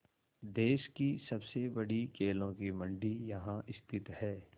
देश की सबसे बड़ी केलों की मंडी यहाँ स्थित है